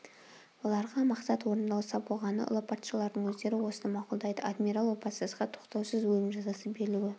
оларға мақсат орындалса болғаны ұлы патшалардың өздері осыны мақұлдайды адмирал опасызға тоқтаусыз өлім жазасы берілуі